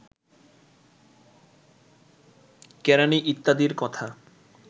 কেরাণী ইত্যাদির কথা